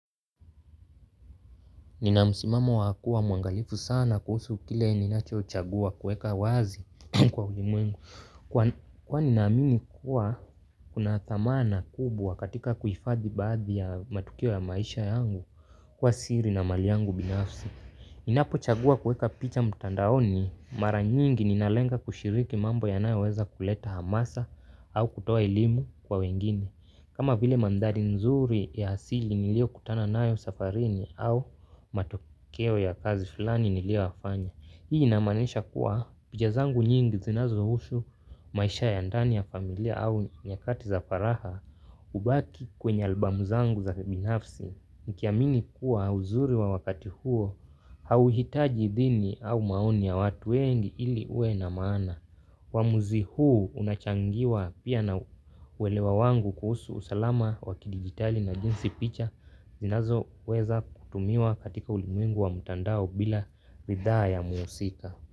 Ninamsimamo wakua muangalifu sana kuhusu kile ninacho chagua kueka wazi kwa ulimwengu. Kwani naamini kuwa, kuna thamana kubwa katika kuhifadhi baadhi ya matukio ya maisha yangu, kwa siri na mali yangu binafsi. Ninapo chagua kueka picha mtandaoni mara nyingi ninalenga kushiriki mambo yanayo weza kuleta hamasa au kutoa elimu kwa wengine. Kama vile mandhari nzuri ya asili nilio kutana nayo safarini au matokeo ya kazi fulani nilioyafanya. Hii inamaanesha kuwa picha zangu nyingi zinazo ushu maisha ya ndani ya familia au nyakati za faraha ubaki kwenye albamu zangu za kibinafsi. Nkiamini kuwa uzuri wa wakati huo hauhitaji idhini au maoni ya watu wengi ili ue na maana. Wamuzi huu unachangiwa pia na uwelewa wangu kuhusu usalama wakidigitali na jinsi picha zinazo weza kutumiwa katika ulimwengu wa mtandao bila bidhaa ya muusika.